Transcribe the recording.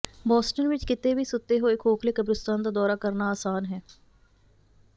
Boston ਵਿਚ ਕਿਤੇ ਵੀ ਸੁੱਤੇ ਹੋਏ ਖੋਖਲੇ ਕਬਰਿਸਤਾਨ ਦਾ ਦੌਰਾ ਕਰਨਾ ਆਸਾਨ ਹੈ